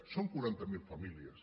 són quaranta miler famílies